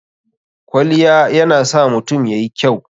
Kwaliya yana sa mutum yayi kyau.